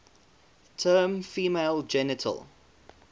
term female genital